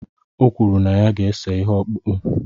O kwuru na ya ga-ese ihe ọkpụkpụ.